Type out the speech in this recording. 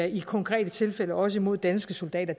i konkrete tilfælde også imod danske soldater